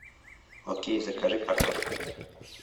окей закажи картошку